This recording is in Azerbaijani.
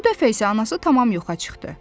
Bu dəfə isə anası tamam yoxa çıxdı.